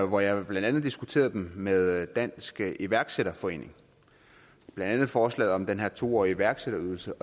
hvor jeg blandt andet diskuterede dem med dansk iværksætterforening blandt andet forslaget om den her to årige iværksætterydelse